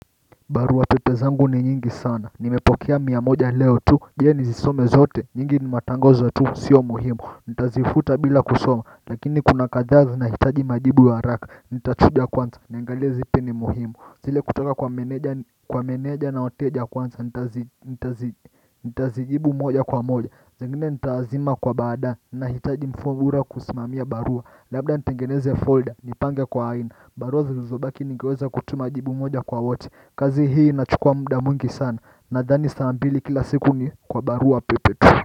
Barua pepe zangu ni nyingi sana, nimepokea mia moja leo tu, je nizisome zote, nyingi ni matangazo tu, sio muhimu Nitazifuta bila kusoma, lakini kuna kathaa zinahitaji majibu ya haraka, nitachuja kwanza, niangalie zipi ni muhimu. Zile kutoka kwa meneja na wateja kwanza, nitazijibu moja kwa moja zingine nitazima kwa baadaye, nahitaji mfumo bora kusimamia barua. Labda ntingeneze folder, nipange kwa aina, barua zilizobaki ningeweza kutuma jibu moja kwa wote. Kazi hii inachukua muda mwingi sana. Nadhani masaa mawili kila siku ni kwa barua pepe.